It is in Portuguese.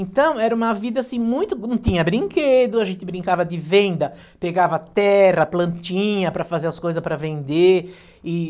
Então, era uma vida assim muito... Não tinha brinquedo, a gente brincava de venda, pegava terra, plantinha para fazer as coisas para vender. E...